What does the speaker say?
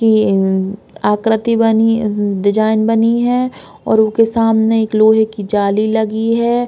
ये आकृति बनी डिज़ाइन बनी है और उके सामने एक लोहे की जाली लगी है।